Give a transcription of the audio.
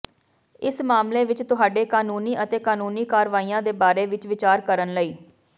ਇਸ ਮਾਮਲੇ ਵਿੱਚ ਤੁਹਾਡੇ ਕਾਨੂੰਨੀ ਅਤੇ ਕਾਨੂੰਨੀ ਕਾਰਵਾਈਆਂ ਦੇ ਬਾਰੇ ਵਿੱਚ ਵਿਚਾਰ ਕਰਨ ਲਈ